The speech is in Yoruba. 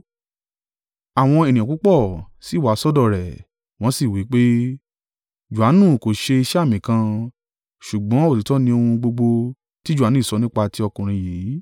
Àwọn ènìyàn púpọ̀ sì wá sọ́dọ̀ rẹ̀, wọ́n sì wí pé, “Johanu kò ṣe iṣẹ́ àmì kan, Ṣùgbọ́n òtítọ́ ni ohun gbogbo tí Johanu sọ nípa ti ọkùnrin yìí.”